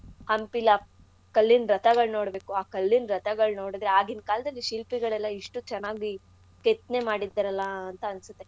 ಹಂಪೀಲ್ ಆ ಕಲ್ಲಿನ್ ರಥಗಳ್ ನೋಡ್ಬೇಕು ಆ ಕಲ್ಲಿನ್ ರಥಗಳ್ ನೋಡುದ್ರೆ ಆಗಿನ್ ಕಾಲ್ದಲ್ಲಿ ಶಿಲ್ಪಿಗಳೆಲ್ಲಾ ಎಷ್ಟು ಚೆನ್ನಾಗಿ ಕೆತ್ನೆ ಮಾಡಿದಾರಲ್ಲಾ ಅಂತ ಅನ್ಸುತ್ತೆ.